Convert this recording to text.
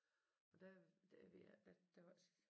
Og der der ved jeg ikke der der var